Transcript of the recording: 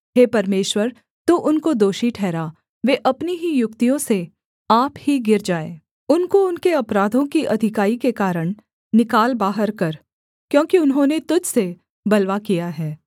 हे परमेश्वर तू उनको दोषी ठहरा वे अपनी ही युक्तियों से आप ही गिर जाएँ उनको उनके अपराधों की अधिकाई के कारण निकाल बाहर कर क्योंकि उन्होंने तुझ से बलवा किया है